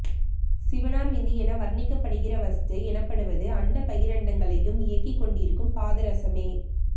சிவனார் விந்து என வர்ணிக்கப்படுகிற வஸ்து எனப்படுவது அண்டபகிரண்டங்களையும் இயக்கிக் கொண்டிருக்கும் பாதரசமே